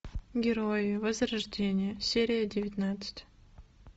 герои возрождение серия девятнадцать